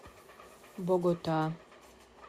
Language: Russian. богота